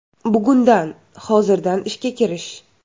Bugundan, hozirdan ishga kirish.